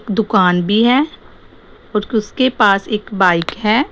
दुकान भी है उसके पास एक बाइक है।